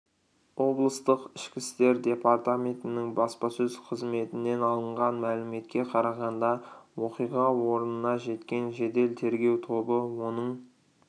облыстық ішкі істер департаментінің баспасөз қызметінен алынған мәліметке қарағанда оқиға орнына жеткен жедел тергеу тобы оның